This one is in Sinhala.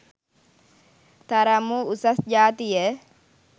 තරම් වූ උසස් ජාතිය